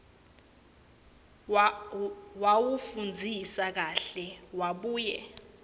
wawufundzisisa kahle wabuye